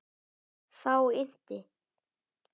Þá innti